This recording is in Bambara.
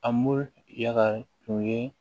A mu yaal tun ye